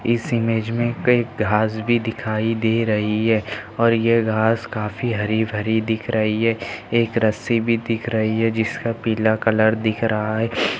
इस इमेज मे कही घास भी दिखाई दे रही है और ये घास काफी हरी भरी दिख रही है एक रस्सी भी दिख रही है जिसका पीला कलर दिख रहा है।